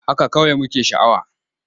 Haka kawai muke sha'awa.